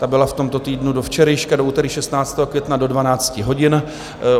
Ta byla v tomto týdnu do včerejška, do úterý 16. května, do 12 hodin.